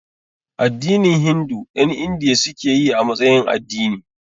Addinin Hindu ƴan Indiya suke yi a matsayin addini